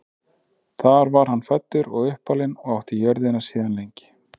þar var hann fæddur og uppalinn og átti jörðina síðan lengi